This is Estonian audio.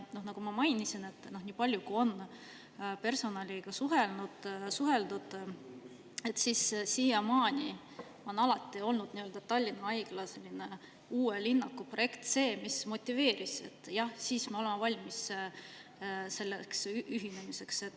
Nagu ma mainisin, nii palju kui on personaliga suheldud, on siiamaani alati olnud Tallinna Haigla uue linnaku projekt see, mis motiveerib: "Jah, siis me oleme valmis selleks ühinemiseks.